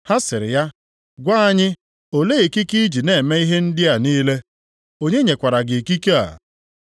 Ha sịrị ya, “Gwa anyị, olee ikike i ji na-eme ihe ndị a niile? Onye nyekwara gị ikike a?”